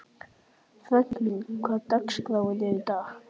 Franklín, hvernig er dagskráin í dag?